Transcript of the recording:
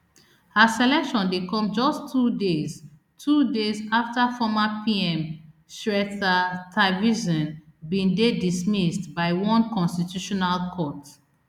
her selection dey come just two days two days afta former pm srettha thavisin bin dey dismissed by one constitutional court